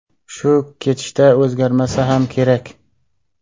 Shu ketishda o‘zgarmasa ham kerak.